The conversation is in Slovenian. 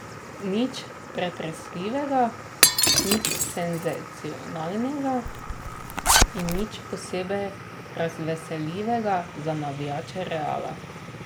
Nič pretresljivega, nič senzacionalnega in nič posebej razveseljivega za navijače Reala.